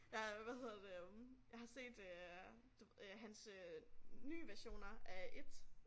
Jeg har hvad hedder det øh jeg har set øh hans øh nye versioner af It